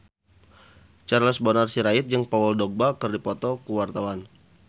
Charles Bonar Sirait jeung Paul Dogba keur dipoto ku wartawan